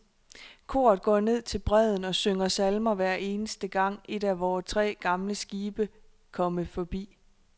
Koret går ned til bredden og synger salmer hver eneste gang, et af vore tre gamle skibe komme forbi.